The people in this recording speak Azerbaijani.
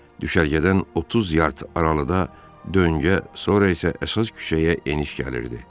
Düşərgədən 30 yard aralıda döngə, sonra isə əsas küçəyə eniş gəlirdi.